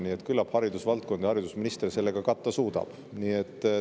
Nii et küllap haridusvaldkond ja haridusminister selle ka katta suudavad.